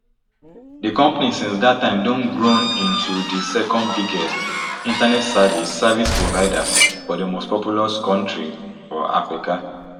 di company since dat time don grown into di secondbiggest internet service service provider for di mostpopulous kontri for africa